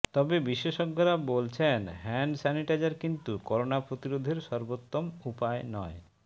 তবে বিশেষজ্ঞরা বলছেন হ্যান্ড স্যানিটাইজার কিন্তু করোনা প্রতিরোধের সর্বোত্তম উপায় নয়